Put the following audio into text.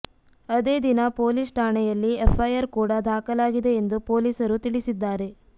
ಅದೇ ದಿನ ಪೊಲೀಸ್ ಠಾಣೆಯಲ್ಲಿ ಎಫ್ಐಆರ್ ಕೂಡ ದಾಖಲಾಗಿದೆ ಎಂದು ಪೊಲೀಸರು ತಿಳಿಸಿದ್ದಾರೆ